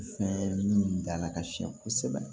Fɛn min dala ka siɲɛ kosɛbɛ